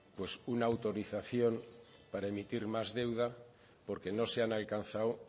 una autorización para emitir más deuda porque no se han alcanzado